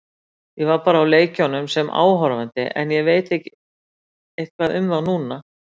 Ég var bara á leikjunum sem áhorfandi en ég veit eitthvað um þá núna.